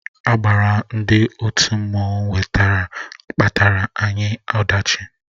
Agbara ndị òtù mmanụ wetara kpataara anyị ọdachi